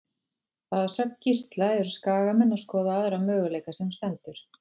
Að sögn Gísla eru Skagamenn að skoða aðra möguleika sem stendur.